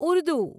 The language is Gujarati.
ઉર્દુ